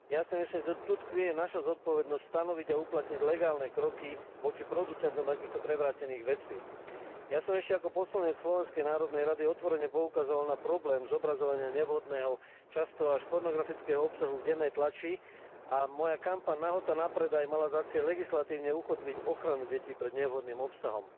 Ja si myslím, že tu tkvie naša zodpovednosť stanoviť a uplatniť legálne kroky voči producentom takýchto prevrátených vecí. Ja som ešte ako poslanec Slovenskej národnej rady otvorene poukazoval na problém zobrazovania nevhodného, často až pornografického obsahu v dennej tlači a moja kampaň Nahota na predaj mala za cieľ legislatívne ukotviť ochranu detí pred nevhodným obsahom.